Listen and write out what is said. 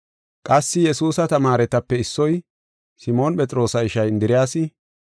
Qassi Yesuusa tamaaretape issoy, Simoon Phexroosa ishay Indiriyasi,